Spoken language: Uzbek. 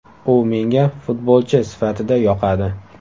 U menga futbolchi sifatida yoqadi.